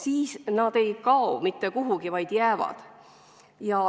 Aga nad ei kao mitte kuhugi, vaid jäävad.